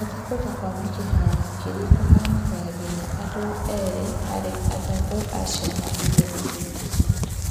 Gũtathũka kwa mĩkiha ya hakiri kũhanĩkaga nginya andũ erĩ harĩ atatũ a ciana irĩa ihutĩtio